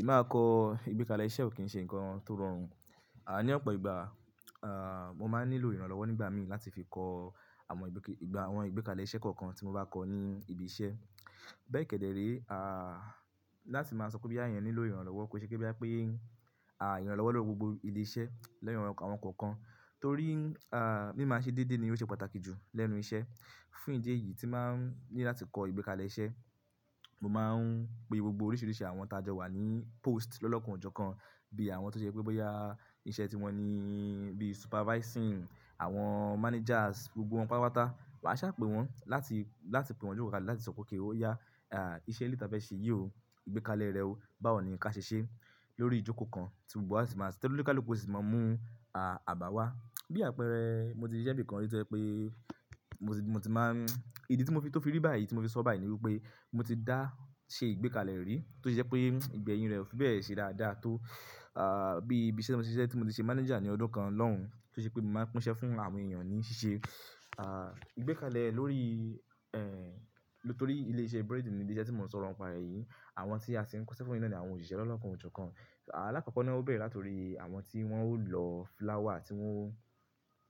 Ìmáa kọ ìgbékalẹ̀ iṣẹ́ ò kí ń ṣe ńǹkan tó rọrùn. À ní ọ̀pọ̀ ìgbà, à, mo máa nílò ìrànlọ́wọ́ nígbà mi láti fi kọ àwọn ìgbékalẹ̀ iṣẹ́ kọ̀ọ̀kan tí mo bá kọ̀ ní ibi iṣẹ́. Bẹ́ẹ̀ kẹ̀dẹ̀ ré, à, láti máa sọ pé bí àyàn nílò ìrànlọ́wọ́, kò n ṣe pé bóyá pé, à, ìrànlọ́wọ́ lọ́wọ́ gbogbo ilé iṣẹ́ lẹ́nu ìrànlọ́wọ́ àwọn kọ̀ọ̀kan, torí, à, mí máa ṣe déédé ni ó ṣe pàtàkì jù lẹ́nu iṣẹ́. Fún ìdí èyí tí máa ń ní láti kọ ìgbékalẹ̀ iṣẹ́, mo máa ń gbé gbogbo oríṣiríṣi àwọn t'a jọ wà ní post lọ́lọ́kanjọ̀kan, bí àwọn tó ṣe pé bóyá iṣẹ́ tí wọ́n ní bí supervising àwọn managers, gbogbo wọn papata. Ma ṣàpè wọ́n láti, láti pe wọ́n jókòó kalẹ̀ láti sọ pé kí ó yá, à, iṣẹ́ ni tà bá ṣe yìí o, ìgbékalẹ̀ rẹ o, báwo ni kí a ṣe ṣe? Lórí ìjókòó kan tí gbogbo wa sì máa sì tí oníkálùkù sì máa mú, à, àbàwá. Bí àpẹẹrẹ, mo ti ṣisẹ́ níbì kan rí tó jẹ́ pé mo ti máa ń-- ìdí tí mo fi tó fi rí báyìí tí mo fi sọ báyìí ni wípé mo ti dá ṣe ìgbékalẹ̀ rí tó jẹ́ pé ìgbẹ́yìn rẹ̀ ó fi bẹ́ẹ̀ ṣe dáadáa tó, à, bí ibi iṣẹ́ mo ti ṣe, tí mo ti ṣe manager ní ọdún kan lọ́hùn-ún tó jẹ́ pé mo máa ń pín iṣẹ́ fún àwọn èèyàn ní ṣíṣe. À, ìgbékalẹ̀ lórí, ẹ́ń, nítorí ilé iṣẹ́ bread ni, ilé iṣẹ́ tí mò ń sọ̀rọ̀ ń pa rẹ̀ yìí. Àwọn tí a sì ń kó ṣẹ́ fún iná ni àwọn òṣìṣẹ́ lọ́lọ́kanjọ̀kan. Alákọ̀ọ́kọ́ náà ó bẹ̀rẹ̀ láti orí àwọn tí wọ́n ó lọ flour tí wọ́n,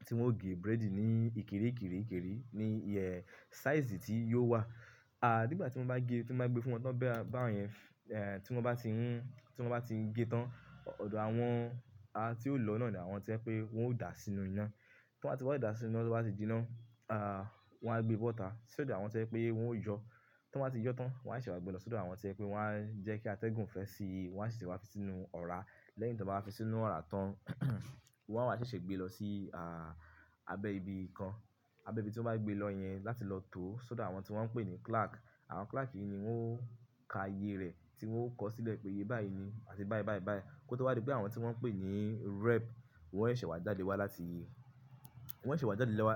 tí wọ́n ó gé bread ní ìkéré ìkéré ìkéré ní, ẹ́, size tí yóò wà. A, nígbà tí wọ́n bá gẹ, tí wọ́n bá gbé fún wọn tán bẹ́rẹ́ báwọ̀nyẹn, ẹ́, tí wọ́n bá ti ń, tí wọ́n bá ti ń ge tán, ọ̀dọ̀ àwọn, à, tí ó lọ náà ni àwọn tó jẹ́ pé wọ́n ó dà sínú iná. Tí wọ́n bá ti wà dá sínú iná, tí wọ́n bá ti jí iná, à, wọ́n á gbé bọ́ọ́tà sí ọ̀dọ̀ àwọn tó jẹ́ pé wọ́n ó yọ. Tí wọ́n bá ti yọ tán, wọ́n á sì wá gbe lọ sí ọ̀dọ̀ àwọn tó jẹ́ pé wọ́n á jẹ́ kí a tẹ́gùn fẹ́ sí i, wọ́n á sì ṣe wá fi sí inú ọ̀rá. Lẹ́yìn tí wọ́n bá fi sínú ọ̀rá tán, wọ́n á sì ṣe gbé lọ sí, à, abẹ́ ibi kan. Abẹ́ ibi tí wọ́n bá gbé lọ yẹn láti lọ tó sódò àwọn tí wọ́n ń pè ní clerk. Àwọn clerk yìí ni wọ́n ó ka iye rẹ̀ tí wọ́n ó kọ̀ sílẹ̀ pé iye bayíì ni àti iye báì báì báì. Kótó wá dé pé àwọn tí wọ́n ń pè ní rep, wọ́n ó sì wá jáde wá láti, wọ́n ó sì wá jáde lọ́wá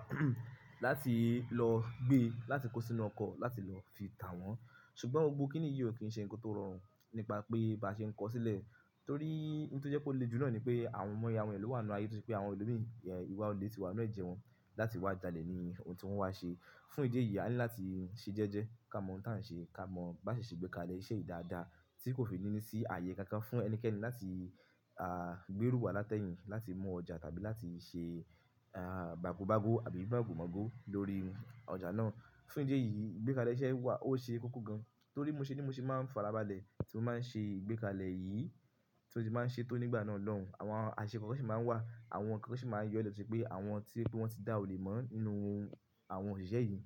láti lọ gbé láti kó sínú ọkọ̀ láti lọ fi tà wọ́n. Ṣùgbọ́n gbogbo kíní yìí ò kí ń ṣe ńǹkan tó rọrùn nípa pé bá ṣe ń kọ́ sílẹ̀. Torí, ohun tí jẹ́ kó le jù náà ni pé àwọn àìmoye èyàn ló wà nínú ayé, torí pé àwọn ẹlòmíràn, ẹ́, ìwà olè tí wà nínú ẹ̀jẹ̀ wọn láti wá jalè ni ohun tí wọ́n wá ṣe. Fún ìdí èyí, a ní láti ṣe jẹ́jẹ́ ká mọ ohun tí à ń ṣe ká mọ bá ṣe ṣe ìgbékalẹ̀ iṣẹ́ dáadáa tí kò fi nínú sí ààyè kan kan fún ẹnikẹ́ni láti, à, gbé rú wá láti ẹ́yìn láti mú ọjà tàbí láti ṣe, à, màgòmágbó àbí gbàgù mọ̀gò lórí ọjà náà. Fún ìdí èyí, ìgbékalẹ̀ iṣẹ́ wà ó ṣe kókó gan-an. Torí mo ṣe ni mo sì máa ń farabalẹ̀ tí mo máa ń ṣe ìgbékalẹ̀ yìí tí ó ti máa ń ṣe tó nígbà náà lọ́hùn-ún. Àwọn àṣẹ kọ̀ọ̀kan sì máa ń wà, àwọn kànkan sì máa ń yọ lọ̀títí pé àwọn tí pé wọ́n ti dá òle mọ́ nínú àwọn òṣìṣẹ́ yìí,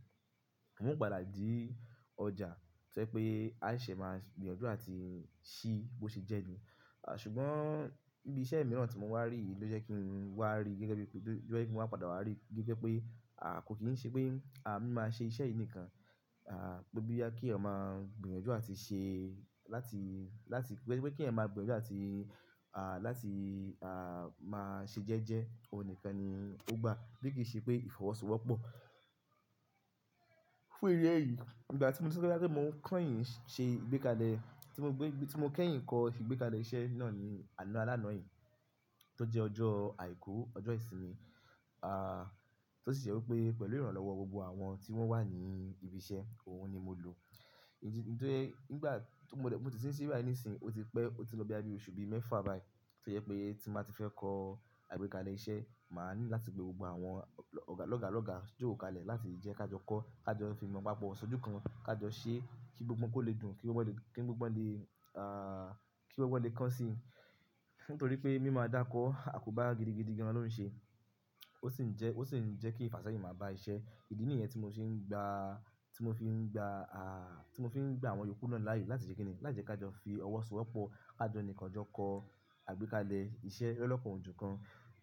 wọ́n ó padà jí ọjà tó jẹ́ pé àìṣẹ̀ máa gbìyànjú àti ṣí bó ṣe jẹ́ ni. À, ṣùgbọ́n bí iṣẹ́ mìíràn tí mo wá rí yìí ló jẹ́ kí n wá rí gẹ́gẹ́ bí pé, ló jẹ́ kí mo wá padà wá rí gẹ́gẹ́ pé, à, kò kí ń ṣe pé, à, mí máa ṣe iṣẹ́ yìí nìkan. À, bó bí kí ọmọ gbìyànjú àti ṣe láti, láti, gẹ́gẹ́ bí kí ẹ̀yin máa gbìyànjú àti, à, láti, à, máa ṣe jẹ́jẹ́ òun nìkan ni ó gbà bí kì í ṣe pé ìfọwọ́sowọ́pọ̀. Fún ìdí eyìí, ìgbà tí mo sọ pé bá tí mò ń kẹ́yìn ṣe ìgbékalẹ̀, tí mo gbé, tí mo kẹ́yìn kọ ìgbékalẹ̀ iṣẹ́ náà ní àná alánà án yìí tó jẹ́ ọjọ́ àìkú, ọjọ́ ìsinmi. À, tó sì jẹ́ wípé pẹ̀lú ìrànlọ́wọ́ gbogbo àwọn tí wọ́n wà ní ibi iṣẹ́, òun ni mo lò. Ìdí, nítorí nígbà tí mo dẹ̀, mo ti sì ń ṣíwà ní ìsìn, ó ti pẹ́, ó ti lọ bí ọdún oṣù bí mẹ́fà báyìí tó jẹ́ pé tí màá ti fẹ́ kọ àgbékalẹ̀ iṣẹ́, màá ní láti gbé gbogbo àwọn ọ̀gá lọ́gà lọ́gà jókòó kalẹ̀ láti jẹ́ ká jọ kọ́, ká jọ fi mọ́ pápọ̀ ṣojú kan, ká jọ ṣe kí gbogbo wọn kó lè dùn, kí gbogbo wọn lè, kí gbogbo wọn lè, à, kí gbogbo wọn lè kàn sí i. Nítorí pé mí máa dákọ́, àkóbá gidigidi gan-an ló ń ṣe. Ó sì ń jẹ́, ó sì ń jẹ́ kí ìfàsẹ́yìn máa bá iṣẹ́. Ìdí nìyẹn tí mo sì ń gba, tí mo fi ń gba, à, tí mo fi ń gba àwọn yòókù náà láàyè láti ṣe kíni, láti jẹ́ ká jọ fi ọwọ́ sowọ́pọ̀, ká jọ nìkàn jọ kọ àgbékalẹ̀ iṣẹ́ lọ́lọ́kanjọ̀kan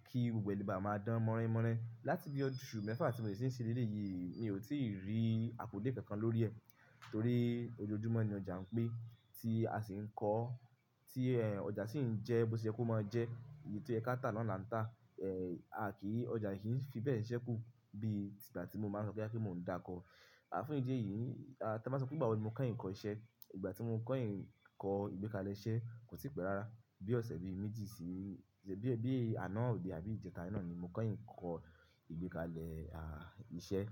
kí gbogbo ẹnì bá máa dán mọ́ránmọ́rán. Láti bí oṣù mẹ́fà tí mo ti sì ń ṣí ilé yìí, mi ò tí ì rí akùdé kankan lórí ẹ̀ torí ojoojúmọ́ ni ọjà n pé tí a sì ń kọ́, tí, ẹ́, ọjà sì ń jẹ́ bó ṣe yẹ kó máa jẹ́, èyí tó yẹ́ ká tà nàá là ń tà. Ẹ́, a kì í, ọjà kì í fi bẹ́ẹ̀ ṣẹ́kù bí ìgbà tí mo máa ń sọ pé kí mò ń da kọ. À, fún ìdí èyí, a, tí a bá sọ pé gbàwo ni mò kẹ́yìn kọ́ṣẹ́. Ìgbà tí mò ń kẹ́yìn kọ ìgbékalẹ̀ iṣẹ́ kò tí pẹ́ rárá. Bí ọ̀sẹ̀ bí méjì sí, bí, bí àná àbí ìjẹta.